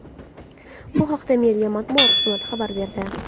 Bu haqda meriya matbuot xizmati xabar berdi .